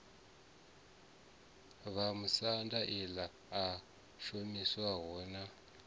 vhamusanda ḽi a shumisiwa na